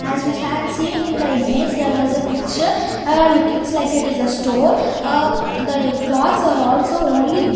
As we seen in the image there was a picture lookings like it is a store the cloths are also only--